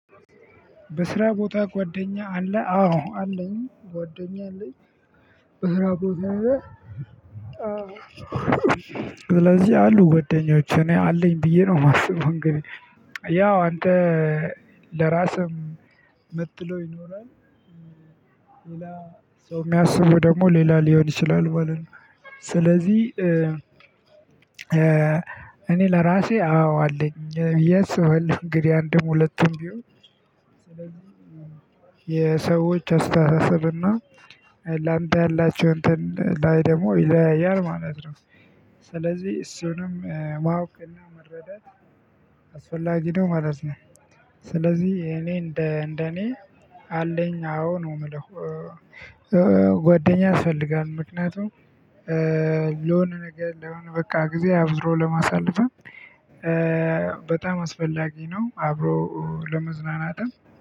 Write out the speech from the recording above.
በስራ ቦታ ጓደኛ አለ? አዎ አለኝ ጓደኛ አለኝ። በስራ ቦታ አዎ። ስለዚህ አሉ ጓዳኞች እኔ አለኝ ብዬ ነው ማስበው እንግዲህ ያው አንተ ለራስህም ምትለው ይኖራል። ሌላ ሰው ሚያስቡ ደግሞ ሌላ ሊሆን ይችላል ማለት ነው። ስለዚህ እኔ ለራሴ አዎ አለኝ ብዬ አስባለው እንግዲህ አንድም ሁለቱም ቢሆን። የሰዎች አስተሳሰብና ላንተ ያላችው እንትን ላይ ደግሞ ይለያያል ማለት ነው። ስለዚህ እሱንም ማወቅና መረዳት አስፈላጊ ነው ማለት ነው። ስለዚህ እኔ እንደ እንደ እኔ አለኝ አዎ ነው ምለው። ጓደኛ ያስፈልጋል ምክንያቱም ለሆነ ነገር ለሆነ በቃ ጊዜ አብሮ ለማሳለፍ በጣም አስፈላጊ ነው። አብሮ ለመዝናናትም